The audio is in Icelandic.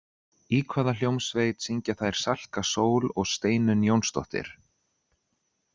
Í hvaða hljómsveit syngja þær Salka Sól og Steinunn Jónsdóttir?